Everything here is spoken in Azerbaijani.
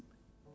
Kim?